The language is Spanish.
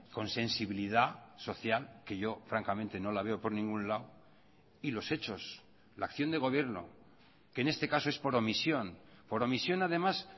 con sensibilidad social que yo francamente no la veo por ningún lado y los hechos la acción de gobierno que en este caso es por omisión por omisión además